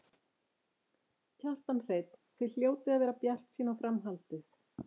Kjartan Hreinn: Þið hljótið að vera bjartsýn á framhaldið?